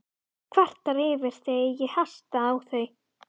Kvartar yfir því ef ég hasta á þau.